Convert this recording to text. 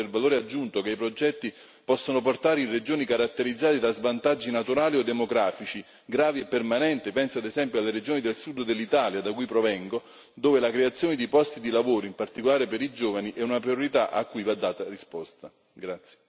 Progress dovrebbe tenere conto maggiormente del valore aggiunto che i progetti possono portare in regioni caratterizzate da svantaggi naturali o demografici, gravi e permanenti, penso ad esempio alle regioni del Sud Italia, da cui provengo, dove la creazione di posti di lavoro, in particolare per i giovani, è una priorità cui va data una risposta.